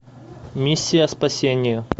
миссия спасения